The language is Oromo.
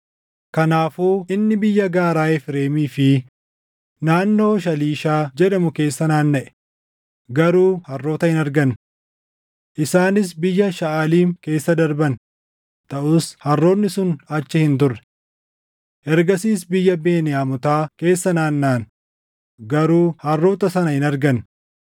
Kanaafuu inni biyya gaaraa Efreemii fi naannoo Shaaliishaa jedhamu keessa naannaʼe; garuu harroota hin arganne. Isaanis biyya Shaʼaliim keessa darban; taʼus harroonni sun achi hin turre. Ergasiis biyya Beniyaamotaa keessa naannaʼan; garuu harroota sana hin arganne.